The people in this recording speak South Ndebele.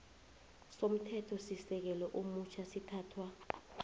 somthethosisekelo omutjha sithathwa